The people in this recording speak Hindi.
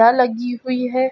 लगी हुई है।